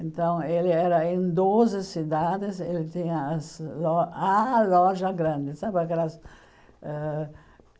Então ele era em doze cidades, ele tinha as lo a loja grande sabe aquelas ãh.